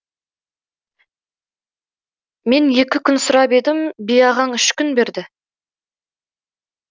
мен екі күн сұрап едім би ағаң үш күн берді